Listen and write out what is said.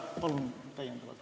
Palun täiendavalt ...